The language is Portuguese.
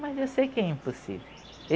Mas eu sei que é impossível.